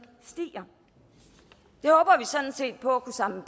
stiger og sådan set på at kunne samle